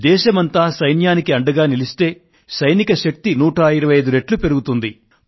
దేశమంతా సైన్యానికి అండగా నిలిస్తే సైనిక శక్తి 125 రెట్లు పెరుగుతుంది